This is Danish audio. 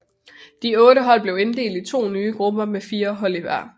De otte hold blev inddelt i to nye grupper med fire hold i hver